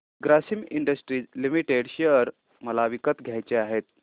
Grasim industries limited share मला विकत घ्यायचे आहेत